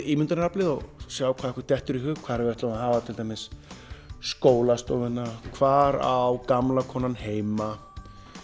ímyndunaraflið og sjá hvað okkur dettur í hug hvar við ætlum að hafa skólastofuna hvar á gamla konan heima